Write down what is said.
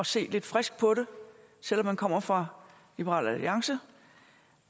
se lidt frisk på det selv om man kommer fra liberal alliance